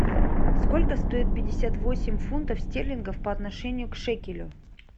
сколько стоит пятьдесят восемь фунтов стерлингов по отношению к шекелю